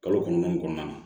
Kalo kɔnɔntɔn kɔnɔna na